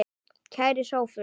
Kæri Sophus.